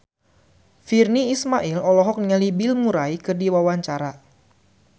Virnie Ismail olohok ningali Bill Murray keur diwawancara